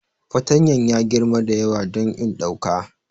Fatanyan ya yi girma da yawa don in ɗauka.